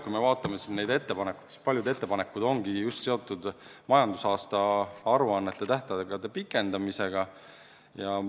Kui me vaatame neid ettepanekuid, siis paljud ettepanekud ongi just seotud majandusaasta aruannete tähtaegade pikendamisega.